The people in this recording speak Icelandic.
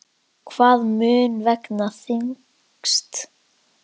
Hvað mun vega þyngst?